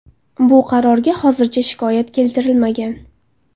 Bu qarorga hozircha shikoyat keltirilmagan.